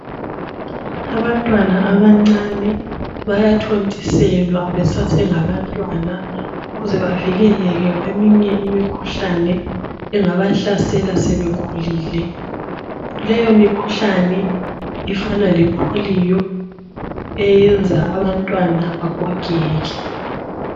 Abantwana abancane bayathontiselwa besasengabantwana ukuze bavikeleke kweminye imikhuhlane engabahlasela sebekhulile leyo mikhuhlane ifana lePolio eyenza abantwana bagogeke.